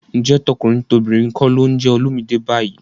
Ǹjẹ́ tọkùnrin tobìnrin kọ́ ló ń jẹ Olumide báyìí?